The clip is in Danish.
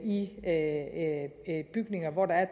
i bygninger hvor der er